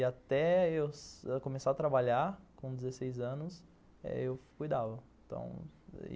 E até eu começar a trabalhar, com dezesseis anos, eu cuidava, então